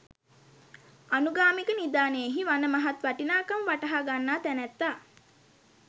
අනුගාමික නිධානයෙහි වන මහත් වටිනාකම වටහාගන්නා තැනැත්තා